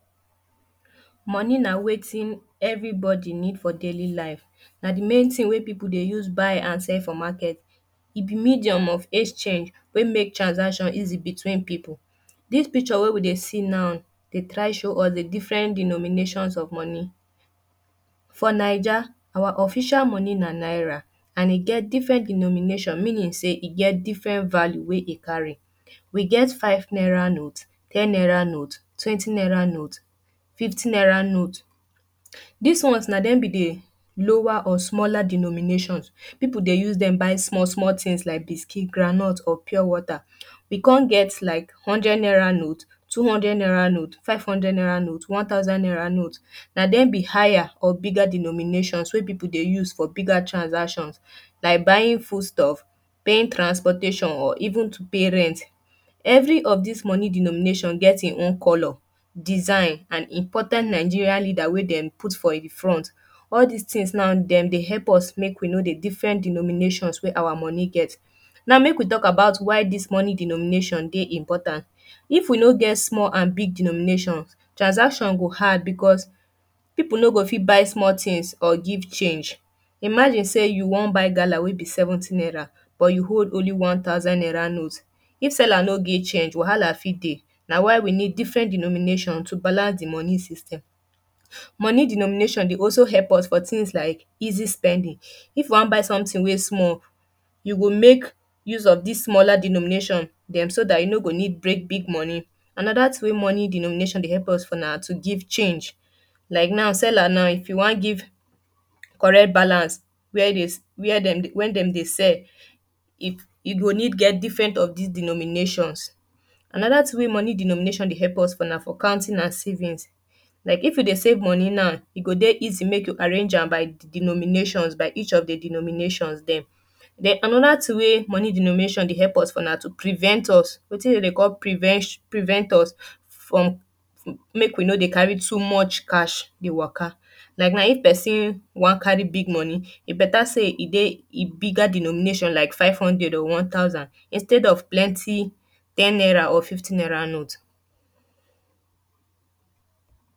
Money na wetin everybody need for daily life. Na the main thing wey people dey use buy and sell for market. E be medium of exchange wey make transaction easy between people. Dis picture wey we dey see now dey try show us the different denominations of money. For Naija our official money na naira and e get different denomination. Meaning sey e get different value wey e carry. We get five naira note, ten naira note, twenty naira note, fifty naira note. Dis ones na dem be the lower or smaller denominations. People dey use dem buy small things like buiscuit, groundnut or pure water. We con get like hundred naira note, two hundred naira note, five hundred naira note, one thousand naira note. Na dem be higher of bigger denominations wey people dey use for bigger transactions or buying foodstuffs, paying transpotation or even to pay rent. Every of des money denomination get e own colour, design and important Nigeria leader wey dem put for e front. All des things now. dem dey help us make we know the different denominations wey our money get Now make we talk about why dis money denomi.nation dey important If we no get small and big denominations, transaction go hard because people no go fit buy small things or give change. Imagine sey you wan buy gala wey be seventy naira but you hold only one thousand naira note. If seller no get change, wahala fit dey. Na why we need different denomination to balance the money system. Money denomination dey also help us for things like easy spending. If you wan buy something wey small you go make use of dis smaller denomination dem. So dat you no go need break big money. Another thing wey money denomination dey help us for na to give change. Like now, seller now, if you wan give correct balance where they, where dem dey sell, e you go need get different of dis denominations. Another thing wey money denomination dey help us for na for counting and savings. Like if you dey save money now, e go dey easy make you arrange am by denominations by each of the denominations dem. Den another thing wey money denomination dey help us for na for to prevent us. Wetin dem dey call prevention prevent us from make we no dey carry to much cash dey waka. Like now if person wan carry big money, e better sey e dey e bigger denomination like five hundred or one thousand instead of plenty ten naira or fifty naira note.